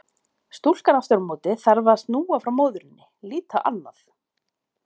Stúlkan aftur á móti þarf að snúa frá móðurinni, líta annað.